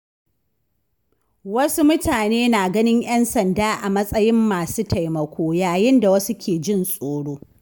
Wasu mutane na ganin ‘yan sanda a matsayin masu taimako, yayin da wasu ke jin tsoro.